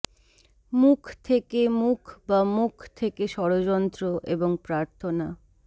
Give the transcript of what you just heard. মুখ থেকে মুখ বা মুখ থেকে ষড়যন্ত্র এবং প্রার্থনা